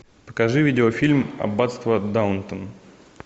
покажи видео фильм аббатство даунтон